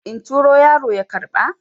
in turo yaro ya karɓa?